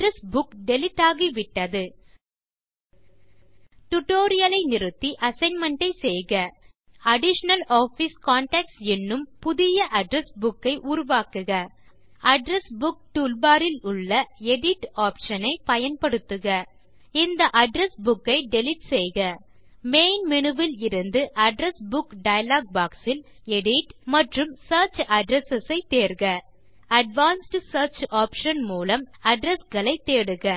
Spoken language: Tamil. அட்ரெஸ் புக் டிலீட் ஆகிவிட்டது டியூட்டோரியல் ஐ நிறுத்தி அசைன்மென்ட் ஐ செய்க அடிஷனல் ஆஃபிஸ் கான்டாக்ட்ஸ் என்னும் புதிய அட்ரெஸ் புக் ஐ உருவாக்குக அட்ரெஸ் புக் டூல்பார் இலுள்ள எடிட் ஆப்ஷன் ஐ பயன்படுத்துக இந்த அட்ரெஸ் புக் ஐ டிலீட் செய்க மெயின் மேனு இலிருந்து அட்ரெஸ் புக் டயலாக் பாக்ஸ் இல் எடிட் மற்றும் சியர்ச் அட்ரெஸ் ஐ தேர்க அட்வான்ஸ்ட் சியர்ச் ஆப்ஷன் மூலம் அட்ரெஸ் களை தேடுக